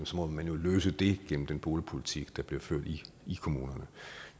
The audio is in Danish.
må man jo løse det gennem den boligpolitik der bliver ført i kommunerne